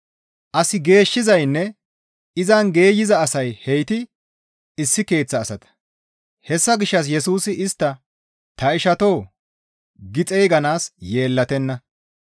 As geeshshizaynne izan geeyza asay heyti issi keeththa asata. Hessa gishshas Yesusi istta, «Ta ishatoo» gi xeyganaas yeellatenna.